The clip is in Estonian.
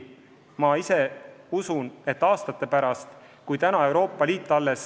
Ma usun, et aastate pärast Euroopa Liit saab sellest aru.